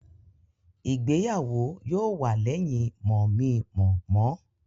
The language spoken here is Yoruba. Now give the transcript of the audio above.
Ìgbéyàwó yóò wà lẹ́yìn mọ̀-mi-mọ̀-mọ́